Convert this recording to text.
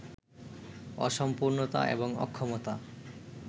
অসম্পূর্ণতা এবং অক্ষমতা